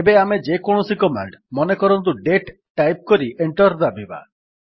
ଏବେ ଆମେ ଯେକୌଣସି କମାଣ୍ଡ୍ ମନେକରନ୍ତୁ ଦାତେ ଟାଇପ୍ କରି ଏଣ୍ଟର୍ ଦାବିବା